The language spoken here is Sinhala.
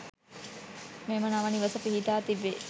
මෙම නව නිවස පිහිටා තිබේ.